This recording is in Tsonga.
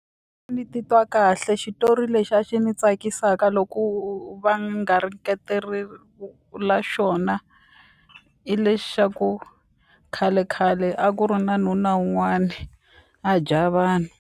Ni titwa kahle xitori lexi a xi ni tsakisaka loko va garingetelile ka xona i lexi xa ku khalekhale a ku ri na nuna wun'wani a dya vanhu.